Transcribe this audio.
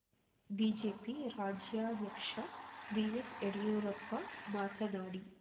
BJP ರಾಜ್ಯಾಧ್ಯಕ್ಷ BS Yediyurappa ಮಾತನಾಡಿ